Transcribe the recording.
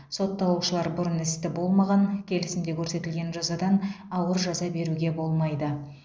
сотталушылар бұрын істі болмаған келісімде көрсетілген жазадан ауыр жаза беруге болмайды